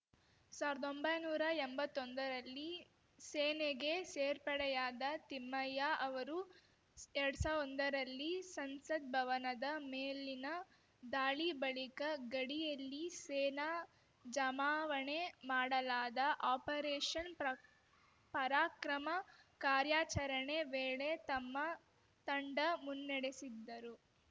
ಸಾವ್ರ್ದೊಂಬೈ ನೂರಾ ಎಂಬತ್ತೊಂದರಲ್ಲಿ ಸೇನೆಗೆ ಸೇರ್ಪಡೆಯಾದ ತಿಮ್ಮಯ್ಯ ಅವರು ಎರಡ್ ಸಾ ಒಂದರಲ್ಲಿ ಸಂಸತ್‌ ಭವನದ ಮೇಲಿನ ದಾಳಿ ಬಳಿಕ ಗಡಿಯಲ್ಲಿ ಸೇನಾ ಜಮಾವಣೆ ಮಾಡಲಾದ ಆಪರೇಷನ್‌ ಪ್ರ ಪರಾಕ್ರಮ ಕಾರ್ಯಾಚರಣೆ ವೇಳೆ ತಮ್ಮ ತಂಡ ಮುನ್ನಡೆಸಿದ್ದರು